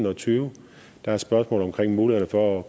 og tyve der er spørgsmål omkring muligheden for at